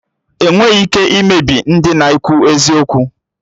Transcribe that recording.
Enweghị ike imebi ndị na-ekwu eziokwu